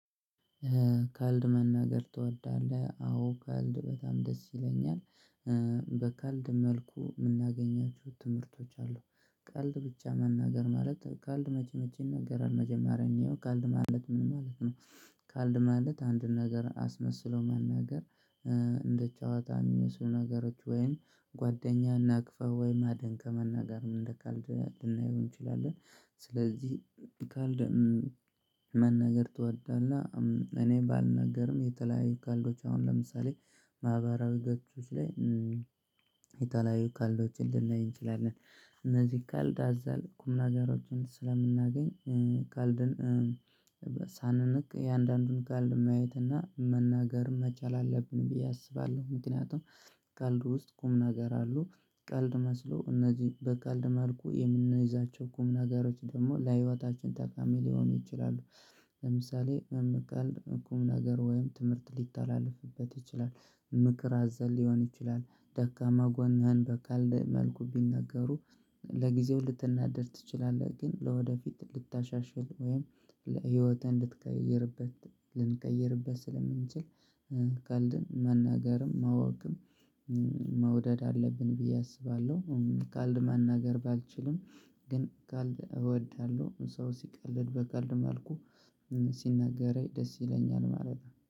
ቀልድ መናገር ትወዳለህ አዎ ቀልድ በጣም ደስ ይለኛል በቀልድ መልኩ የምናገኛቸው ትምህርቶች አሉ ቀልድ ብቻ መናገር ማለት ቀልድ መቼ መቼ ይነገራል መጀመሪያ እንየው ቀልድ ማለት ምን ማለት ነው ቀልድ ማለት አንድን ነገር አስመስሎ መናገር ጨዋታ የሚመስሉ ነገሮች ወይም ጓደኛ ነቅፈህ ወይም አድንቀህ መናገርን እንደ ቀልድ ልናየው እንችላለን ስለዚህ ቀልድ መናገር ትወዳለህ እኔ ባልናገርም የተለያዩ ቀልዶች አሁን ለምሳሌ ማህበራዊ ገጾች ላይ የተለያዩ ቀልዶችን ልናይ እንችላለን። እነዚህ ቀልድ አዘል ቁም ነገሮችን ስለምናገኝ ቀልድን ሳንንቅ እያንዳንዱን ቀልድ ማየት እና መናገር መቻል አለብን ብዬ አስባለሁ ምክንያቱም ቀልድ ውስጥ ቁም ነገር አሉ። ቀልድ መስሎ እነዚህ በቀልድ መልኩ የምንይዛቸው ቁም ነገሮች ደግሞ ለህይወታችን ጠቃሚ ሊሆኑ ይችላሉ። ለምሳሌ ቀልድ ቁምነገር ወይም ትምህርት ሊተላለፍበት ይችላል። ምክር አዘል ሊሆን ይችላል ደካማ ጎንህን በቀልድ መልኩ ቢነገሩ ለጊዜው ልትናደድ ትችላለህ ግን ለወደፊት ልታሻሽል ወይም ህይወትህን እንድትቀይርበት ልንቀይርበት ስለምንችል ቀልድን መናገርም ማወቅም መውደድ አለብን ብዬ አስባለሁ ቀልድ መናገር ባልችልም ግን ቀልድ እወዳለሁ ሰው ሲቀልድ በቀልድ መልኩ ሲነገረኝ ደስ ይለኛል ማለት ነው።